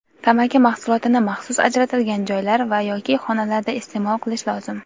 Tamaki mahsulotini maxsus ajratilgan joylar va (yoki) xonalarda isteʼmol qilish lozim.